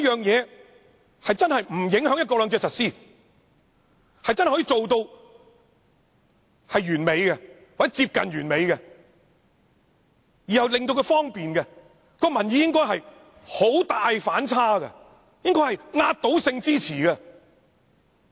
如果方案真的不影響"一國兩制"的實施，真正做到完美或接近完美，而又令市民方便，這樣民意應有很大的反差，應該是壓倒性支持。